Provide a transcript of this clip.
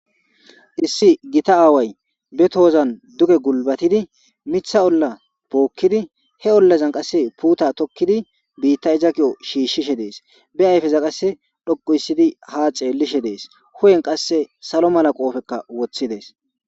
Issi gita aaway be toozan duge gulbatidi mitha olla pookkidi he ollazan qasse puuta tokkidi biitta izakiyo shiishshishe dees be ayfeza qasse dhoqu issidi ha ceellishe dees hu7en qasse salo mala qoofekka woththi dees.